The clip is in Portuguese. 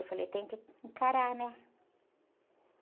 Eu falei, tem que encarar, né?